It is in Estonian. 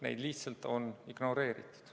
Neid lihtsalt on ignoreeritud.